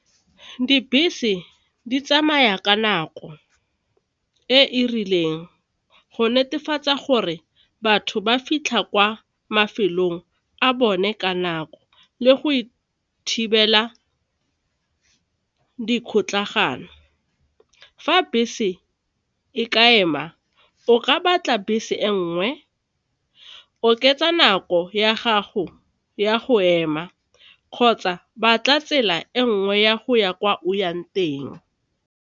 Dibese di tsamaya ka nako e e rileng go netefatsa gore batho ba fitlha kwa mafelong a bone ka nako le go e thibela dikgotlagano, fa bese e ka ema o ka batla bese e nngwe, oketsa nako ya gago ya go ema kgotsa batla tsela e nngwe ya go ya kwa o yang teng.